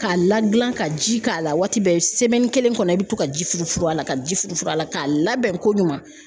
K'a la gilan ka ji k'a la waati bɛɛ kelen kɔnɔ i bɛ to ka ji furufuru a la, ka ji furufuru a la, k'a labɛn ko ɲuman .